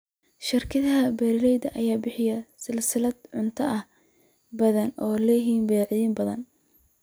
Shirkadaha beeralayda ayaa bixiya silsilado cuntooyin badan oo leh badeecooyin badan.